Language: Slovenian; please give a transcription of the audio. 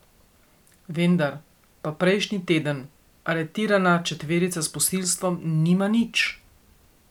Vendar pa prejšnji teden aretirana četverica s posilstvom nima nič.